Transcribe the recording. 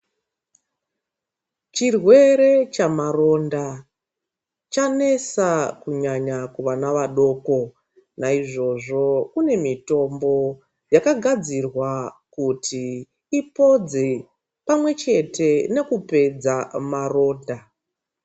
Chirwere chamaronda chanesa kunyanya kuvana vadoko, naizvozvo kune mitombo gakagadzirwa kuti ipodze pamwechete nekupedza maronda.